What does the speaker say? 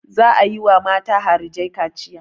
Za a yi wa mata harijai kaciya.